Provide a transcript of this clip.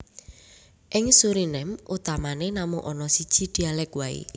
Ing Suriname utamané namung ana siji dhialèk waé